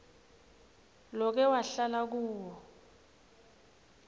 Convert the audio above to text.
loke wahlala kuwo